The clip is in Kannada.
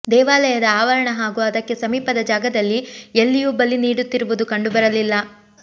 ದೇವಾಲಯದ ಆವರಣ ಹಾಗೂ ಅದಕ್ಕೆ ಸಮೀಪದ ಜಾಗದಲ್ಲಿ ಎಲ್ಲಿಯೂ ಬಲಿ ನೀಡುತ್ತಿರುವುದು ಕಂಡು ಬರಲಿಲ್ಲ